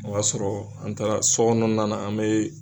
O y'a sɔrɔ an taara sɔ kɔnɔna na an be